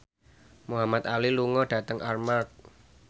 Muhamad Ali lunga dhateng Armargh